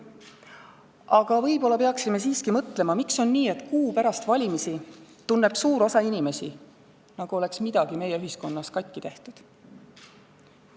Aga võib-olla peaksime siiski mõtlema, miks on nii, et kuu pärast valimisi tunneb suur osa inimesi, nagu oleks midagi meie ühiskonnas katki tehtud.